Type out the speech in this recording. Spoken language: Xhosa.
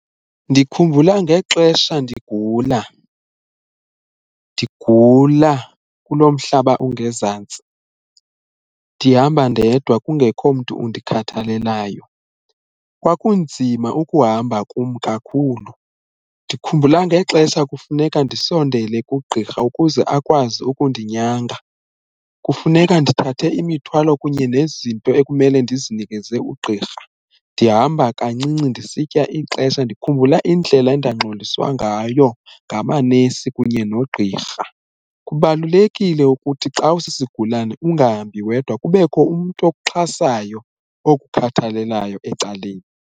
Ndikhumbula ngexesha ndigula, ndigula kulo mhlaba ungezantsi ndihamba ndedwa kungekho mntu undikhathalelayo kwakunzima ukuhamba kum kakhulu ndikhumbula ngexesha kufuneka ndisondele kugqirha ukuze akwazi ukundinyanga, kufuneka ndithathe imithwalo kunye nezinto ekumele ndizinikeze ugqirha ndihamba kancinci ndisitya ixesha ndikhumbula indlela endangxoliswa ngayo ngamanesi kunye nogqirha. Kubalulekile ukuthi xa usisigulane ungahambi wedwa kubekho umntu okuxhasayo olukhathalelayo ecaleni.